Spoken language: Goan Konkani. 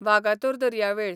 वागातोर दर्यावेळ